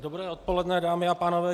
Dobré odpoledne, dámy a pánové.